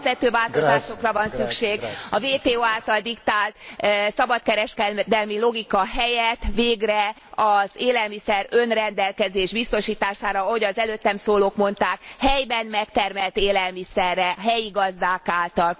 Alapvető változásokra van szükség, a WTO által diktált szabadkereskedelmi logika helyett végre az élelmiszer önrendelkezés biztosítására, ahogy az előttem szólók mondták, helyben megtermelt élelmiszerre, helyi gazdák által.